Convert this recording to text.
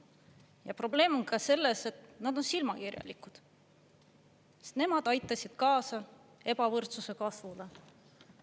Ja probleem on ka selles, et nad on silmakirjalikud, sest nemad aitasid kaasa ebavõrdsuse kasvule.